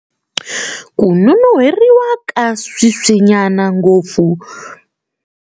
Ku nonon'hweriwa ka sweswinyana, ngopfu.